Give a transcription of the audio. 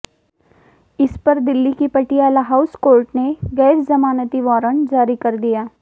इस पर दिल्ली की पटियाला हाउस कोर्ट ने गैर जमानती वारंट जारी कर दिया